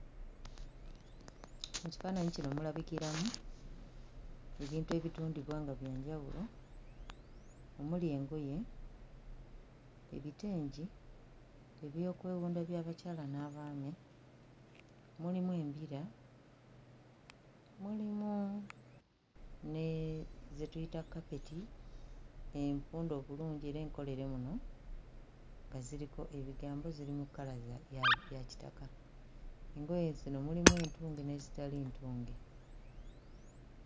Mu kifaananyi kino mulabikiramu ebintu ebitundibwa nga bya njawulo omuli engoye, ebitengi, ebyokwewunda by'abakyala n'abaami, mulimu embira, mulimu ne ze tuyita kapeti empunde obulungi era enkolere muno nga ziriko ebigambo; ziri mu kkala ya kitaka. Engoye zino mulimu entunge n'ezitali ntunge.